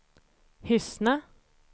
Hyssna